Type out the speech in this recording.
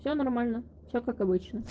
все нормально все как обычно